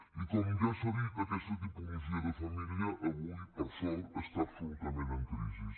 i com ja s’ha dit aquesta tipologia de família avui per sort està absolutament en crisi